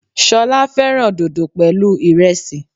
Solá féràn dodo pèlú iresi